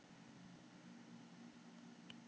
Ég kom í gættina.